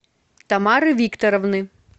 тамары викторовны